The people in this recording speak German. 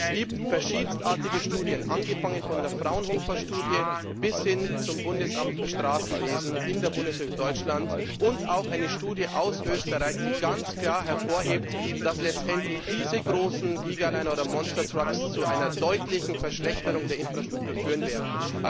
Es gibt verschiedenartigste Studien, angefangen von der Fraunhofer Studie bis hin zu einer Studie des Bundesamts für Straßenwesen in der Bundesrepublik Deutschland, und auch eine Studie aus Österreich, die ganz klar hervorheben, dass diese großen Gigaliner oder Monstertrucks letztendlich zu einer deutlichen Verschlechterung der Infrastruktur führen werden.